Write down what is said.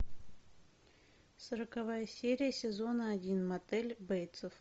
сороковая серия сезона один мотель бейтсов